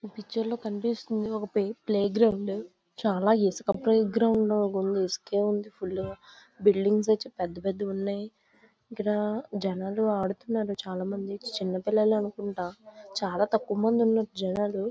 ఈ పిక్చర్ లో కనిపిస్తుంది ఒక ప్లే గ్రౌండ్ చాలా ఇసుక ప్లే గ్రౌండ్ లాగా ఉంది గ్రౌండ్ మొత్తం ఇసుకే ఉంది ఫుల్ గా బిల్డింగ్స్ అన్ని పెద్ద పెద్దవిగా ఉన్నాయి. ఇక్కడ జనాలు ఆడుతున్నారు చాలామంది పిల్లలు ఉన్నారు చాలా తక్కువ మంది జనాలు ఉన్నారు.